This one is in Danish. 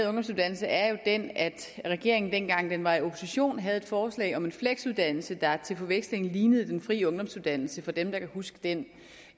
ungdomsuddannelse er jo den at regeringen dengang den var i opposition havde et forslag om en fleksuddannelse der til forveksling lignede den fri ungdomsuddannelse for dem der kan huske den